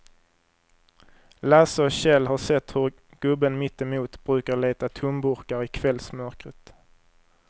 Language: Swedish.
Lasse och Kjell har sett hur gubben mittemot brukar leta tomburkar i kvällsmörkret.